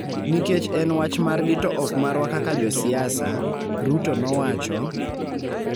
nikech en wach margi to ok marwa kaka josiasa, Ruto nowacho,